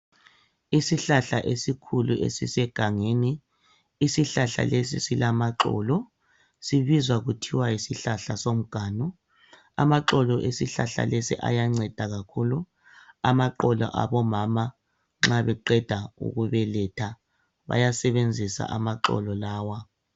Isihlahla esikhulu esisegangeni. Isihlahla lesi silamaxolo. Sibizwa kuthiwa yisihlahla somganu. Amaxolo esihlahla lesi siyanceda kakhulu. Amaqolo abomama nxa beqeda ukubeletha bayasebenzisa amaxolo lawa.